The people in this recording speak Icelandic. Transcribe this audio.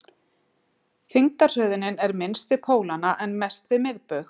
þyngdarhröðunin er minnst við pólana en mest við miðbaug